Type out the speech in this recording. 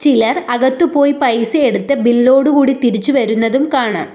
ചിലർ അകത്തു പോയി പൈസ എടുത്ത് ബില്ലോടു കൂടി തിരിച്ചു വരുന്നതും കാണാം.